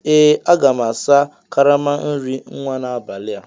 Ee aga m asa karama nri nwa n'abalị a